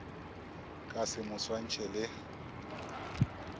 ka se mo swantšhe le